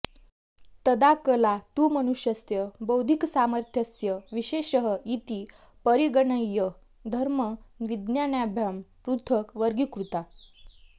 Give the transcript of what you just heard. तदा कला तु मनुष्यस्य बौद्धिकसामर्थ्यस्य विशेषः इति परिगणय्य धर्मविज्ञानाभ्यां पृथक् वर्गीकृता